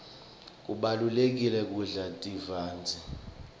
kubalulekile kudla tivandze